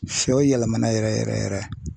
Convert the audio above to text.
Sɔ yɛlɛmana yɛrɛ yɛrɛ yɛrɛ.